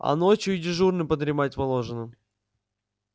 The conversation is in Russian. а ночью и дежурным подремать положено